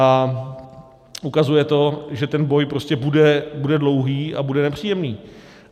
A ukazuje to, že ten boj prostě bude dlouhý a bude nepříjemný.